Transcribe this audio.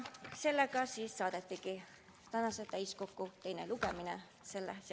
Sellega siis saadetigi see seaduseelnõu tänaseks täiskokku teisele lugemisele.